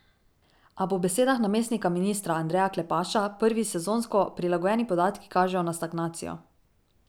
A po besedah namestnika ministra, Andreja Klepača, prvi sezonsko prilagojeni podatki kažejo na stagnacijo.